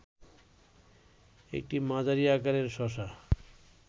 একটি মাঝারি আকারের শশা